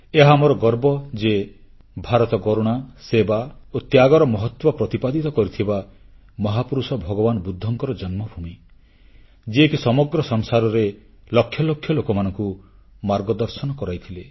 ଏହା ଆମର ଗର୍ବ ଯେ ଭାରତ କରୁଣା ସେବା ଓ ତ୍ୟାଗର ମହତ୍ୱ ପ୍ରତିପାଦିତ କରିଥିବା ମହାପୁରୁଷ ଭଗବାନ ବୁଦ୍ଧଙ୍କର ଜନ୍ମଭୂମି ଯିଏକି ସମଗ୍ର ସଂସାରରେ ଲକ୍ଷ ଲକ୍ଷ ଲୋକମାନଙ୍କୁ ମାର୍ଗଦର୍ଶନ କରାଇଥିଲେ